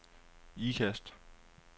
Ikast